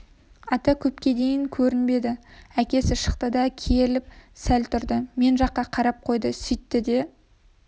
ата көпке дейін көрінбеді әкесі шықты да керіліп сәл тұрды мен жаққа қарап қойды сөйтті де